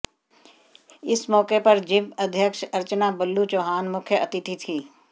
इस मौके पर जिपं अध्यक्ष अर्चना बल्लू चौहान मुख्य अतिथि थीं